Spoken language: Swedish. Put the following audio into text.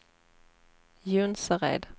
Jonsered